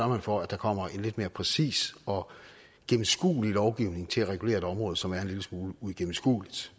man for at der kommer en lidt mere præcis og gennemskuelig lovgivning til at regulere et område som er en lille smule uigennemskueligt